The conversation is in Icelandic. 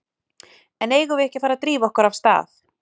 En eigum við ekki að fara að drífa okkur af stað?